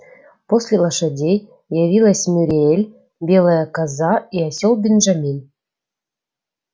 после лошадей явилась мюриель белая коза и осёл бенджамин